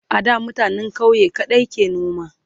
a da mutanen ƙauye kaɗai ke noma